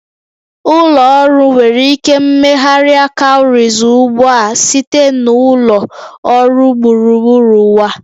Ụlọ ọrụ nwere ike megharịa cowries ugbu a site na ụlọ ọrụ gburugburu ụwa